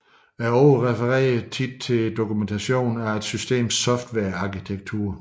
Ordet refererer ofte til dokumentation af et systems softwarearkitektur